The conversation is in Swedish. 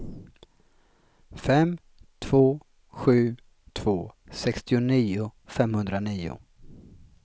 fem två sju två sextionio femhundranio